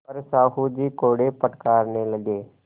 पर साहु जी कोड़े फटकारने लगे